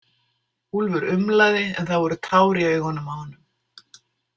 Úlfur umlaði en það voru tár í augunum á honum.